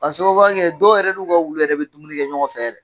K'a sababuya kɛ dɔw yɛrɛ n'u ka wulu yɛrɛ bɛ dumuni kɛ ɲɔgɔn fɛ yɛrɛ.